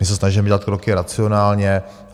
My se snažíme dělat kroky racionálně.